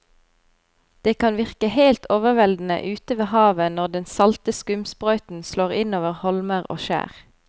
Det kan virke helt overveldende ute ved havet når den salte skumsprøyten slår innover holmer og skjær.